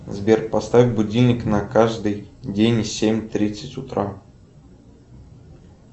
сбер поставь будильник на каждый день в семь тридцать утра